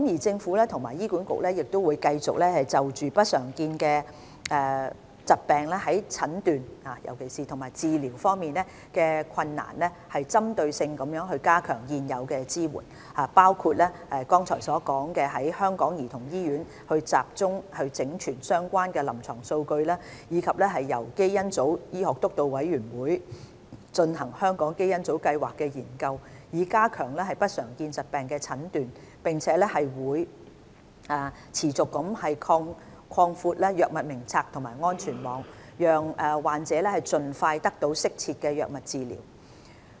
政府和醫管局會繼續就不常見疾病在診斷及治療方面的困難針對性地加強現有支援，包括剛才所說透過香港兒童醫院集中整存相關的臨床數據，以及由基因組醫學督導委員會進行香港基因組計劃的研究，以加強不常見疾病的診斷；並會持續擴闊藥物名冊及安全網，讓患者盡快得到適切的藥物治療。